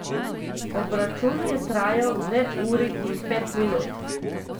Obračun je trajal dve uri in pet minut.